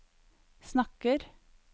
snakker